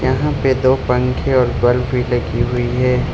यहां पे दो पंखे और बल्ब भी लगी हुई है।